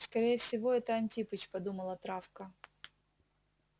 скорее всего это антипыч подумала травка